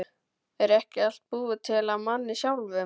Er ekki allt búið til af manni sjálfum?